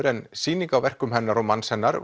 en sýning á verkum hennar og manns hennar